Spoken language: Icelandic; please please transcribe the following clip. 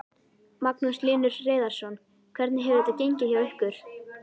Magnús Hlynur Hreiðarsson: Hvernig hefur þetta gengið hjá ykkur?